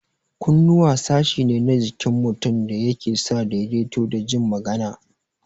Kunnuwa sashi ne na jikin mutum da yake sa daidaito da jin magana